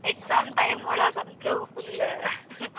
Exam time ಒಳಗ ಅಂತೂ full .